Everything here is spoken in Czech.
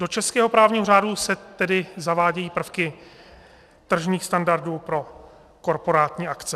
Do českého právního řádu se tedy zavádějí prvky tržních standardů pro korporátní akce.